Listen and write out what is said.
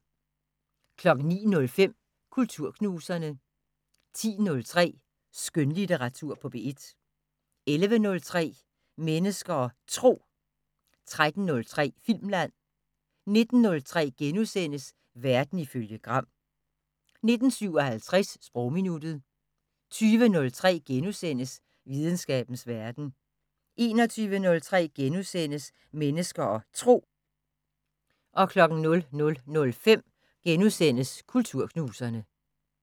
09:05: Kulturknuserne 10:03: Skønlitteratur på P1 11:03: Mennesker og Tro 13:03: Filmland 19:03: Verden ifølge Gram * 19:57: Sprogminuttet 20:03: Videnskabens Verden * 21:03: Mennesker og Tro * 00:05: Kulturknuserne *